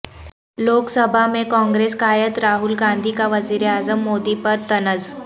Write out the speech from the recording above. لوک سبھا میں کانگریس قائد راہول گاندھی کا وزیراعظم مودی پر طنز